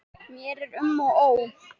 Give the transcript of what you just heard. Mér er um og ó